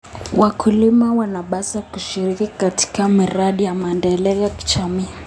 Wakulima wanapaswa kushiriki katika miradi ya maendeleo ya kijamii.